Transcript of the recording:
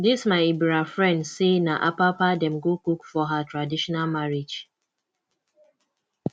this my ebira friend say na apapa dem go cook for her traditional marriage